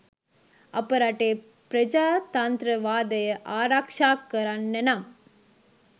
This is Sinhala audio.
අප රටේ ප්‍රජාතන්ත්‍රවාදය ආරක්‌ෂා කරන්න නම්